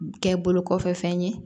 Kɛ bolo kɔfɛ fɛn ye